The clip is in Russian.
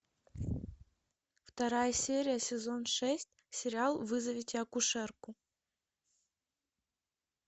вторая серия сезон шесть сериал вызовите акушерку